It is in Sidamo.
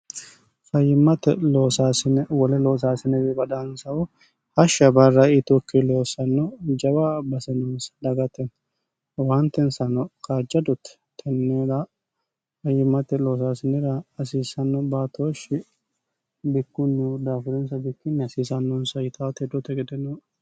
fayimmate oossine wole loosaasinewi badaansahu hashsha barra itokki loossanno jawa basenonsa dagate waantensano qajjadotti tenneera fayyimmate loosaasinira asiissanno baatooshshi bikkunnih daafirinsa bikkinni hasiisannonsa yitaotedoote gedenoono